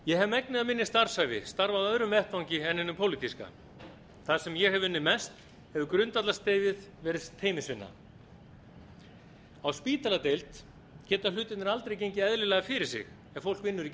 ég hef megnið af minni starfsævi starfað á öðrum vettvangi en hinum pólitíska þar sem ég hef unnið mest hefur grundvallarstefið verið teymisvinna á spítaladeild geta hlutirnir aldrei gengið eðlilega fyrir sig ef fólk vinnur ekki